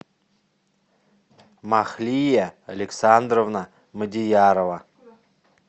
махлия александровна мадиярова